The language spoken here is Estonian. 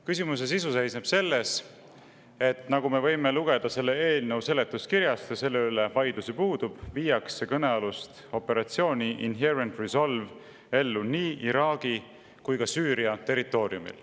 Küsimus seisneb selles, et nagu me võime lugeda selle eelnõu seletuskirjast – ja selle üle ju vaidlus puudub –, viiakse kõnealust operatsiooni Inherent Resolve ellu nii Iraagi kui ka Süüria territooriumil.